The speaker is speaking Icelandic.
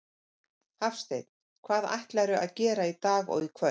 Hafsteinn: Hvað ætlarðu að gera í dag og í kvöld?